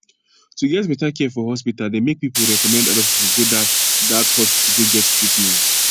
to get better care for hospital dey make pipu recommend other pipu go dat dat hospital go get treatment